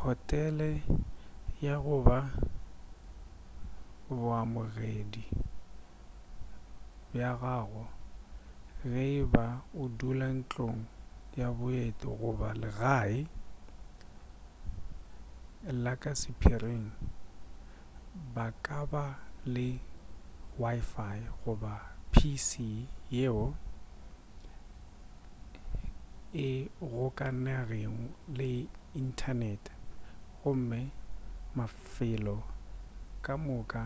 hotele ya goba baamogedi ba gago ge e ba o dula ntlong ya baeti goba legae la ka sephiring ba ka ba le wifi goba pc yeo e gokaganego le inthanete gomme mafelo ka moka